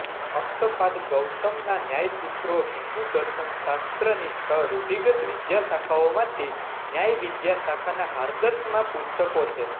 અક્ષપાદ ગૌતમના ન્યાય સૂત્રો હિંદુ દર્શનશાસ્ત્રની છ રૂઢિગત વિદ્યાશાખાઓમાંથી ન્યાય વિદ્યાશાખાનાં હાર્દસમાં પુસ્તકો છે